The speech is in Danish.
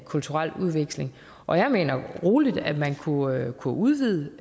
kulturel udveksling og jeg mener roligt man kunne kunne udvide